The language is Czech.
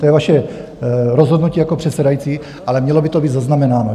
To je vaše rozhodnutí jako předsedající, ale mělo by to být zaznamenáno.